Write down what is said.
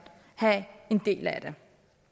have en del af det